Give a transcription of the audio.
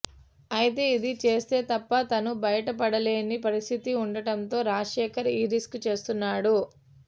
అయతే ఇది చేస్తే తప్ప తను బయటపడలేని పరిస్థితి ఉండడంతో రాజశేఖర్ ఈ రిస్క్ చేస్తున్నాడు